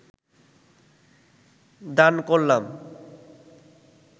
দান করলাম